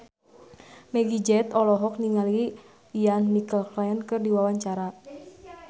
Meggie Z olohok ningali Ian McKellen keur diwawancara